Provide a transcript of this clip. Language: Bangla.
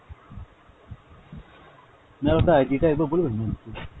ma'am আপনার ID টা একবার বলবেন ma'am please।